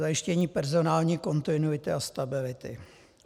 Zajištění personální kontinuity a stability.